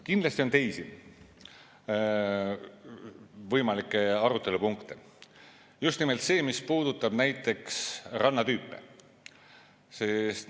Kindlasti on teisi võimalikke arutelupunkte, näiteks just nimelt see, mis puudutab rannatüüpe.